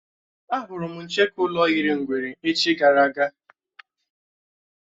Á hụrụ m ncheke ụlọ yiri ngwere echi gara aga